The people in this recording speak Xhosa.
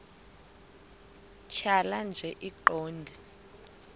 tjhaya nje iqondee